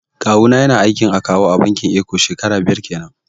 Kawu na ya na aiki a matsayin akawu a bankin eko shekaru biyar kenan